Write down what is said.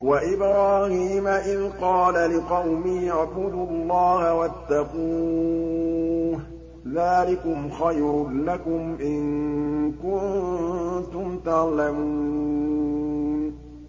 وَإِبْرَاهِيمَ إِذْ قَالَ لِقَوْمِهِ اعْبُدُوا اللَّهَ وَاتَّقُوهُ ۖ ذَٰلِكُمْ خَيْرٌ لَّكُمْ إِن كُنتُمْ تَعْلَمُونَ